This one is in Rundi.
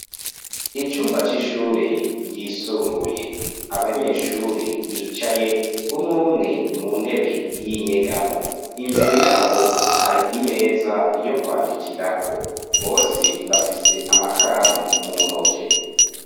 Icumba c'ishuri ryisumbuye abanyeshuri bicaye umwe umwe mu ntebe yinyegamo imbere yabo hari imeza yokwandikirako bose bafise amakaramu mu ntoki.